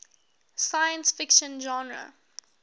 science fiction genre